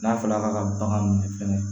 N'a fɔra ka bagan minɛ fɛnɛ